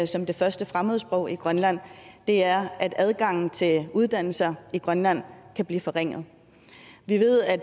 som det første fremmedsprog i grønland er at adgangen til uddannelser i grønland kan blive forringet vi ved at